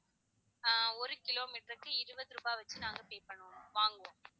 ஆஹ் ஒரு kilometer க்கு இருவது ரூபாய் வெச்சி நாங்க pay பண்ணுவோம் வாங்குவோம்